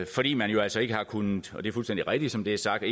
fordi man jo altså ikke har kunnet og det er fuldstændig rigtigt som det er sagt